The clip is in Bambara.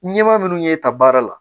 Ɲɛmaa minnu y'e ta baara la